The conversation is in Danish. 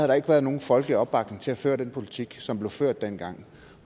der ikke været nogen folkelig opbakning til at føre den politik som blev ført dengang